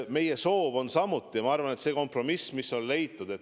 Meie soov oli leida kompromiss ja see ongi, ma arvan, leitud.